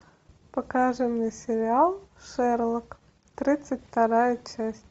показывай мне сериал шерлок тридцать вторая часть